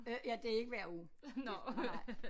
Øh ja det er ikke hver uge det nej nej